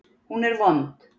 Hún er vond.